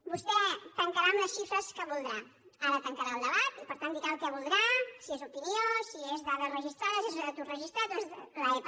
vostè tancarà amb les xifres que voldrà ara tancarà el debat i per tant dirà el que voldrà si és opinió si són dades registrades si és atur registrat o és l’epa